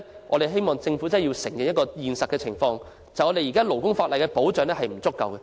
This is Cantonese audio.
我們希望特區政府面對現實，承認現行勞工法例保障不足。